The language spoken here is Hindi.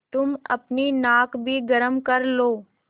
तुम अपनी नाक भी गरम कर लो